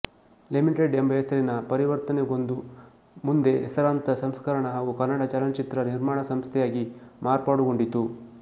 limited ಎಂಬ ಹೆಸರಿಗೆ ಪರಿವರ್ತನೆಗೊಂದು ಮುಂದೆ ಹೆಸರಾಂತ ಸಂಸ್ಕರಣ ಹಾಗೂ ಕನ್ನಡ ಚಲನಚಿತ್ರ ನಿರ್ಮಾಣ ಸಂಸ್ಥೆಯಾಗಿ ಮಾರ್ಪಾಡುಗೊಂಡಿತು